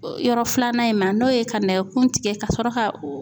Yɔrɔ filanan in ma n'o ye ka nɛgɛkun tigɛ ka sɔrɔ ka